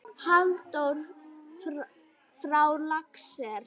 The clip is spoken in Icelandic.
Halldór frá Laxnesi?